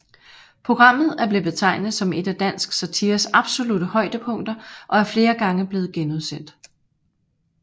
Programmet er blevet betegnet som et af dansk satires absolutte højdepunkter og er flere gange blevet genudsendt